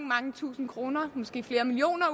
mange tusind kroner måske flere millioner